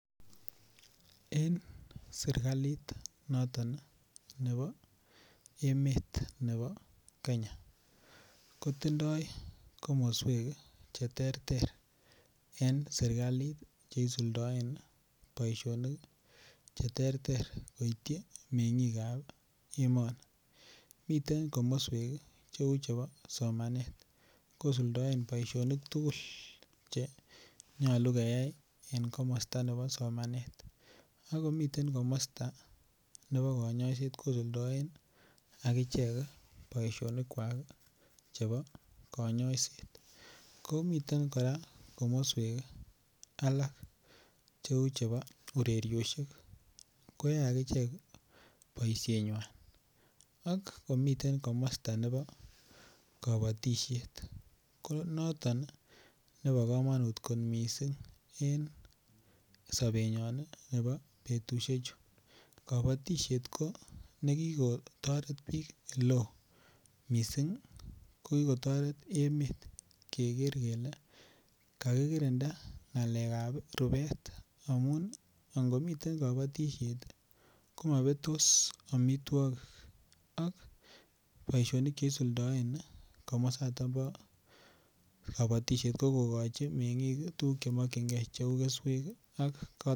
En serikalit noton nebo emet nebo Kenya kotindoi komoswek cheterter en serikalit cheisuldoen boishonik cheterter koityi mengikab emoni miten komoswek cheu chebo somanet kosuldaen boishonik tugul che nyolu keyai en komosta nebo somanet ako miten komosta nebo kanyoiset kosuldaen ak kichek boishonik kwak chebo kanyoiset komiten kora komoswek alak cheu chebo urerioshek koyoe akichek boishenywai ak komiten komosta nebo kabotishet ko noton nebo kamanut kot mising' en sobenyon nebo betushechu kabotishet ko nekikotoret biik ole oo mising' ko kikotoret emet keker kele kakikirinda ng'alekab rubet amun angomitei kabotishet komapetos omitwokik ak boishonik che isuldoen komosatak bo kabotishet ko kokochi meng'ik tukuk chemakchingei cheu keswek